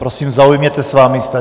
Prosím, zaujměte svá místa.